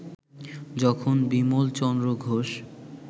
যখন বিমলচন্দ্র ঘোষ